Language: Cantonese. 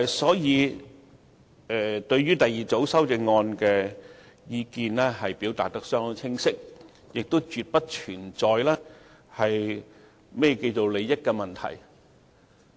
所以，我們對於第二組修正案的意見已表達得相當清晰，亦絕不存在利益衝突的問題。